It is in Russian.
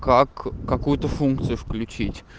как какую-то функцию включить